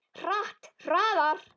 Hratt, hraðar.